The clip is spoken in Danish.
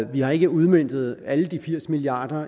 vi har ikke udmøntet alle de firs milliard